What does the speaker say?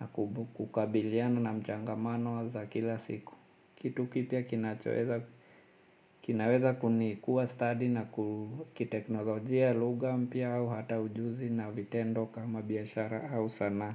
na kukabiliana na mchangamano za kila siku. Kitu kipya kinaweza kunikuwa study na kiteknolojia lugha mpya au hata ujuzi na vitendo kama biashara au sana.